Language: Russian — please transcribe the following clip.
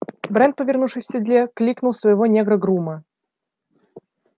брент повернувшись в седле кликнул своего негра-грума